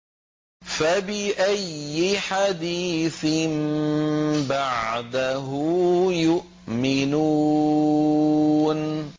فَبِأَيِّ حَدِيثٍ بَعْدَهُ يُؤْمِنُونَ